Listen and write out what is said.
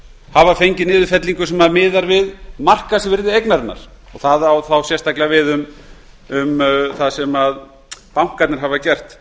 hafa fengið niðurfellingu sem miðast við markaðsvirði eignarinnar og það á þá sérstaklega við það sem bankarnir hafa gert